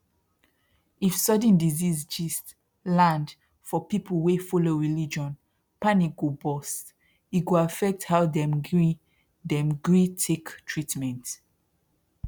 if sudden disease gist land for people wey follow religion panic go burst e go affect how dem gree dem gree take treatment